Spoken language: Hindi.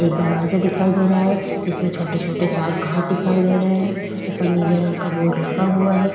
एक दरवाजा दिखाई दे रहा है इसमें छोटे-छोटे चार कांच दिखाई दे रहे हैं ऊपर नीले रंग का बोर्ड लगा हुआ है।